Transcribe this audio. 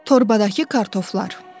Torbadakı kartoflar.